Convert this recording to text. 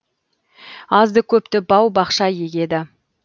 азды көпті бау бақша егеді